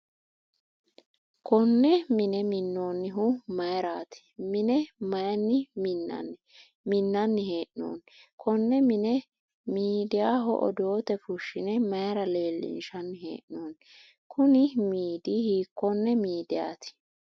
Kunne mine minoonnihu mayirati? Mine mayinni minnanni he'noonni? Konne mine miidayaho odoote fushine mayira leelishanni hee'noonni? Kunni miidi hikone miidayati?